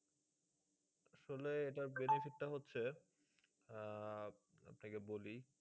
আসলে এটার benefit টা হচ্ছে আহ আপনাকে বলি,